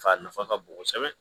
Fa nafa ka bon kosɛbɛ